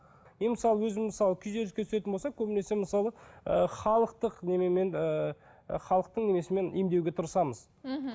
мен мысалы өзім мысалы күйзеліске түсетін болсам көбінесе мысалы ы халықтық неменемен ы халықтың несімен емдеуге тырысамыз мхм